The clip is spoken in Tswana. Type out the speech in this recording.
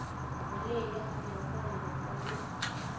boleele ga mmogo le bogolo